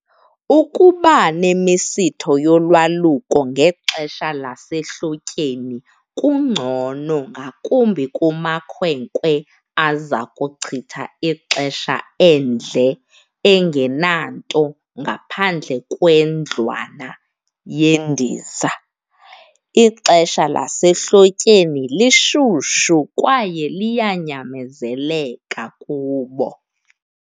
Ukuba nemisitho yolwaluko ngexesha lasehlotyeni kungcono ngakumbi kumakhwenkwe aza kuchitha ixesha endle engenanto ngaphandle kwendlwana yendiza. Ixesha lasehlotyeni lishushu kwaye liyanyamezeleka kubo.